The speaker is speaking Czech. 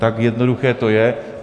Tak jednoduché to je.